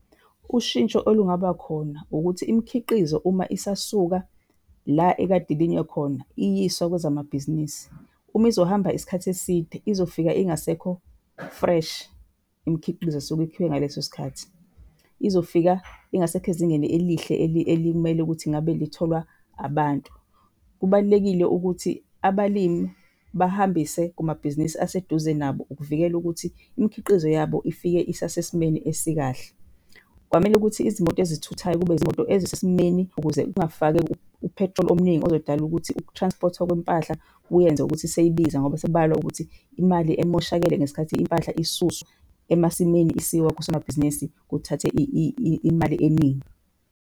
Ushintsho olungabakhona ukuthi imikhiqizo uma isasuka la ekade ilinywe khona iyiswa kwezamabhizinisi, uma izohamba isikhathi eside izofika ingasekho-fresh imikhiqizo esuke ikhiwe ngaleso sikhathi. Izofika ingasekho ezingeni elihle elimele ukuthi ngabe litholwa abantu. Kubalulekile ukuthi abalimi bahambise kumabhizinisi aseduze nabo ukuvikela ukuthi imikhiqizo yabo ifike isasesimeni esikahle. Kwamele ukuthi izimoto ezithuthayo kube izimoto ezisesimeni ukuze kungafakeki u-petrol omningi ozodala ukuthi uku-transport-wa kwempahla kuyenze ukuthi seyibiza. Ngoba sekubalwa ukuthi imali emoshakale ngesikhathi impahla isuswa emasimini isiwa kusomabhizinisi kuthathe imali eningi.